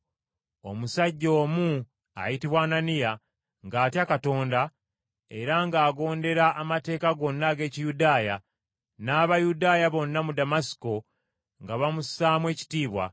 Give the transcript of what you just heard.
“Omusajja omu ayitibwa Ananiya, ng’atya Katonda era ng’agondera amateeka gonna ag’Ekiyudaaya, n’Abayudaaya bonna mu Damasiko nga bamussaamu ekitiibwa,